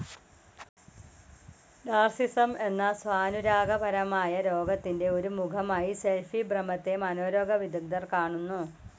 Narcissism എന്ന സ്വാനുരാഗ പരമായ രോഗത്തിൻ്റെ ഒരു മുഖമായി സെൽഫി ഭ്രമത്തെ മനോരോഗ വിദഗ്ദ്ധർ കാണുന്നു.